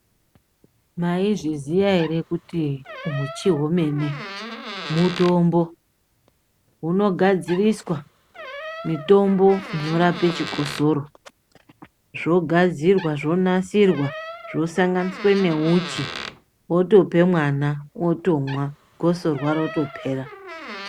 Mayizviziya here kuti uchi hwemene mutombo ungadziriswa mutombo unorapa chikosora zvogadzirwa zvonasirwa mutombo unosanganiswe neumuchi wotope mwana otomwa gosorwa rotopera.